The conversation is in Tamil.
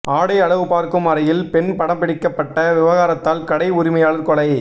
ஆடை அளவுபார்க்கும் அறையில் பெண் படம்பிடிக்கப்பட்ட விவகாரத்தால் கடை உரிமையாளர் கொலை